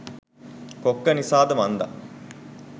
කොක්ක නිසාද මන්දා